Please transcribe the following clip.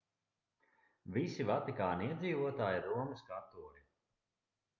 visi vatikāna iedzīvotāji ir romas katoļi